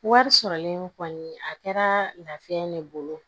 Wari sɔrɔlen kɔni a kɛra lafiya ne bolo